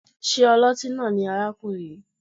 Ṣé ọlọ́tí náà ni arákùnrin yìí?